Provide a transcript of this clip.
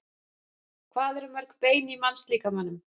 Hvað eru mörg bein í mannslíkamanum?